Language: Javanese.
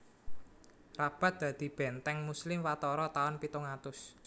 Rabat dadi bèntèng Muslim watara taun pitung atus